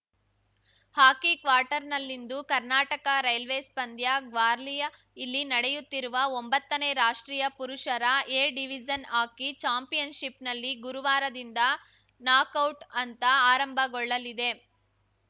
ಹಾಕಿ ಕ್ವಾರ್ಟರ್‌ನಲ್ಲಿಂದು ಕರ್ನಾಟಕರೈಲ್ವೇಸ್‌ ಪಂದ್ಯ ಗ್ವಾಲಿಯರ್‌ ಇಲ್ಲಿ ನಡೆಯುತ್ತಿರುವ ಒಂಬತ್ತನೇ ರಾಷ್ಟ್ರೀಯ ಪುರುಷರ ಎ ಡಿವಿಜನ್‌ ಹಾಕಿ ಚಾಂಪಿಯನ್‌ಶಿಪ್‌ನಲ್ಲಿ ಗುರುವಾರದಿಂದ ನಾಕೌಟ್‌ ಹಂತ ಆರಂಭಗೊಳ್ಳಲಿದೆ